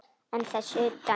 En þess utan?